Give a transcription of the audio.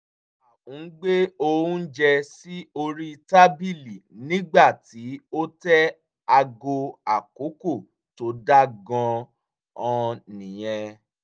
à ń gbé oúnjẹ sí orí tábìlì nígbà tí o tẹ aago àkókò tó dáa gan-an nìyẹn